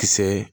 Kisɛ